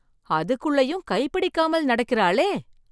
அதுக்குள்ளேயும் கை பிடிக்காமல் நடக்கிறளே!